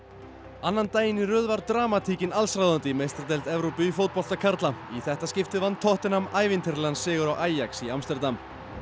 annan daginn í röð var dramatíkin allsráðandi í meistaradeild Evrópu í fótbolta karla í þetta skiptið vann tottenham ævintýralegan sigur á í Amsterdam